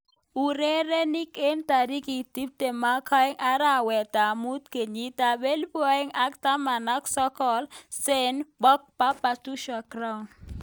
Urerenik eng tarik tiptem agenge arawet ab mut kenyit ab elipu aeng ak taman ak sokol, Sane, Pogba, Batistuta, Giroud.